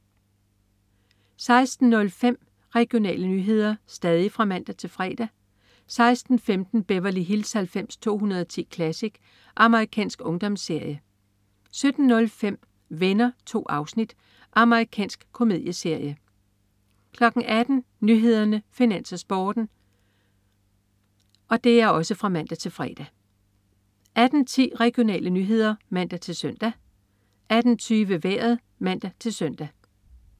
16.05 Regionale nyheder (man-fre) 16.15 Beverly Hills 90210 Classic. Amerikansk ungdomsserie (man-fre) 17.05 Venner. 2 afsnit. Amerikansk komedieserie (man-fre) 18.00 Nyhederne, Finans, Sporten (man-fre) 18.10 Regionale nyheder (man-søn) 18.20 Vejret (man-søn)